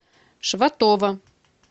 шватова